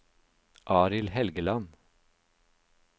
Arild Helgeland